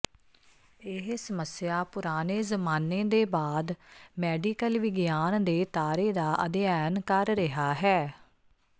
ਇਹ ਸਮੱਸਿਆ ਪੁਰਾਣੇ ਜ਼ਮਾਨੇ ਦੇ ਬਾਅਦ ਮੈਡੀਕਲ ਵਿਗਿਆਨ ਦੇ ਤਾਰੇ ਦਾ ਅਧਿਐਨ ਕਰ ਰਿਹਾ ਹੈ